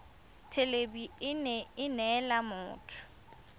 thelebi ene e neela motho